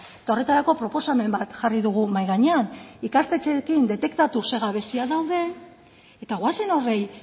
eta horretarako proposamen bat jarri dugu mahai gainean ikastetxeekin detektatu ze gabeziak dauden eta goazen horri